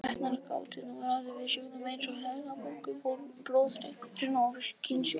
Læknar gátu nú ráðið við sjúkdóma eins og heilabólgu, blóðeitrun og kynsjúkdóma.